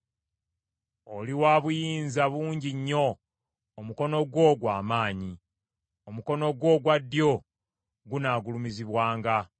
Oli wa buyinza bungi nnyo; omukono gwo gwa maanyi, omukono gwo ogwa ddyo gunaagulumizibwanga.